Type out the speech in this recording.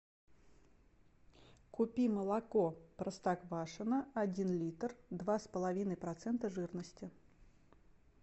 купи молоко простоквашино один литр два с половиной процента жирности